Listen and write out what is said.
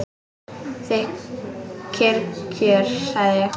Kyrr kjör, sagði ég.